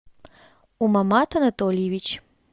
умамат анатольевич